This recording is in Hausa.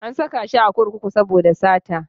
An saka shi a kurkuku saboda sata.